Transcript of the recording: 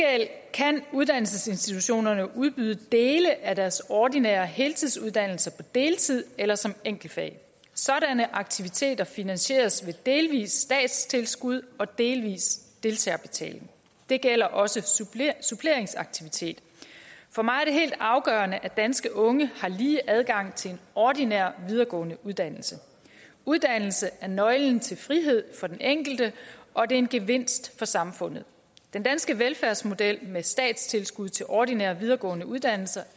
kan uddannelsesinstitutionerne udbyde dele af deres ordinære heltidsuddannelser på deltid eller som enkeltfag sådanne aktiviteter finansieres ved delvis statstilskud og delvis deltagerbetaling det gælder også suppleringsaktiviteter for mig er det helt afgørende at danske unge har lige adgang til en ordinær videregående uddannelse uddannelse er nøglen til frihed for den enkelte og det er en gevinst for samfundet den danske velfærdsmodel med statstilskud til ordinære videregående uddannelser